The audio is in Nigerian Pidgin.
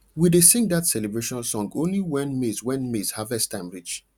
we dey sing that celebration song only when maize when maize harvest time reach